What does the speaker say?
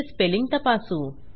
चे स्पेलिंग तपासू